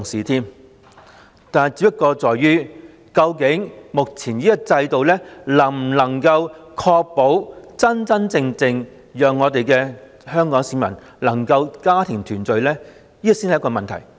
不過，究竟目前這種制度能否真正確保香港市民能家庭團聚，這才是問題所在。